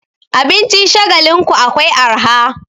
Abincin Shagalinku akwai arha.